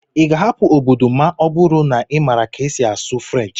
ị ga-ahapụ obodo ma ọ bụrụ na ị maara ka esi asụ French?